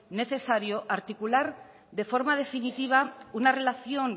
necesario articular de forma definitiva una relación